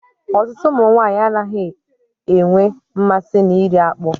Ọtụtụ ụmụ nwaanyị anaghị enwe mmasị na iri akpụ.